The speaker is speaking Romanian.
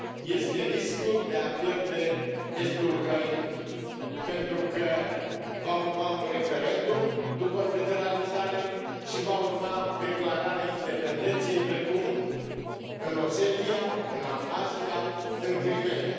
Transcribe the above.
Este riscul de a pierde estul Ucrainei, pentru că va urma un referendum după federalizare și va urma declararea independenței, precum în Osetia, în Abhazia, în Crimeea.